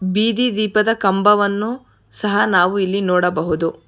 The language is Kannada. ಬೀದಿ ದೀಪದ ಕಂಬವನ್ನು ಸಹಾ ನಾವು ಇಲ್ಲಿ ನೋಡಬಹುದು.